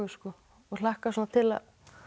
og hlakka til að